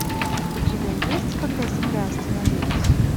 у тебя есть когда земля остановилась